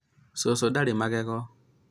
cũcũ ndarĩ magego